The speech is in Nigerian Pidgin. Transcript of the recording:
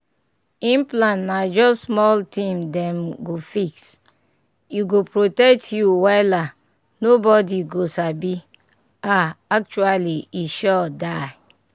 implant na just small thing dem go fix — e go protect you wela nobody go sabi ah actually e sure die.